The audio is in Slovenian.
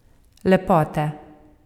Lepote.